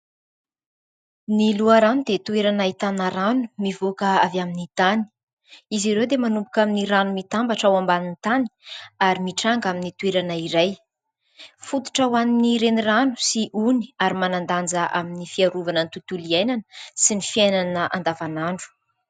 Ny loharano dia toerana ahitana rano mivoaka avy amin'ny tany. Izy ireo dia manomboka amin'ny rano mitambatra ao ambanin'ny tany ary mitranga amin'ny toerana iray. Fototra ho an'ny renirano sy ony ary manan-danja amin'ny fiarovana ny tontolo iainana sy ny fiainana andavan'andro.